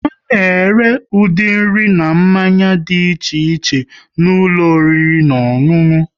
A na ere ụdị nri na mmanya dị iche iche n'ụlọ oriri na ọṅụṅụ